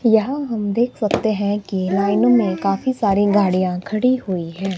यहां हम देख सकते हैं की लाइनो में काफी सारी गाड़ियां खड़ी हुई है।